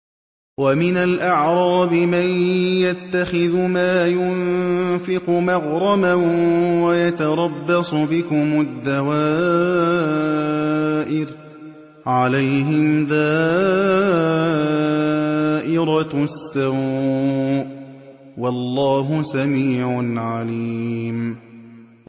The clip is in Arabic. وَمِنَ الْأَعْرَابِ مَن يَتَّخِذُ مَا يُنفِقُ مَغْرَمًا وَيَتَرَبَّصُ بِكُمُ الدَّوَائِرَ ۚ عَلَيْهِمْ دَائِرَةُ السَّوْءِ ۗ وَاللَّهُ سَمِيعٌ عَلِيمٌ